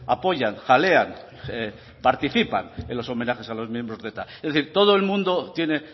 apoyan jalean participan en los homenajes a los miembros de eta es decir todo el mundo tiene